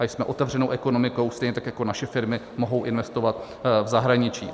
A jsme otevřenou ekonomikou, stejně tak jako naše firmy mohou investovat v zahraničí.